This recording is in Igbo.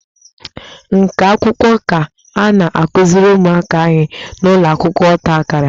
Nka akwụkwọ ka a na-akuziri ụmụaka anyị n'ụlọ akwụkwọ ọta akara